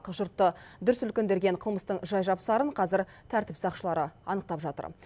жұртты дүр сілкіндірген қылмыстың жай жапсарын қазір тәртіп сақшылары анықтап жатыр